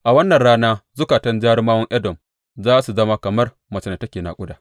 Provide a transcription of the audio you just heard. A wannan rana zukatan jarumawan Edom za su zama kamar macen da take naƙuda.